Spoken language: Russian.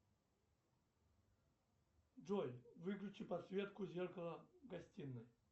джой выключи подсветку зеркала в гостиной